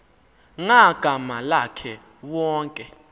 ngagama lakhe wonke